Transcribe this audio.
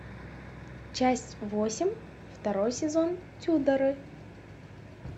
часть восемь второй сезон тюдоры